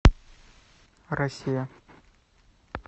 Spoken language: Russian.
россия